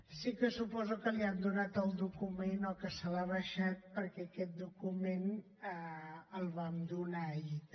sí que suposo que li han donat el document o que se l’ha baixat perquè aquest document el vam donar ahir també